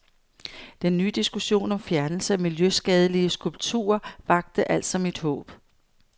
Den ny diskussion om fjernelse af miljøskadelige skulpturer vakte altså mit håb.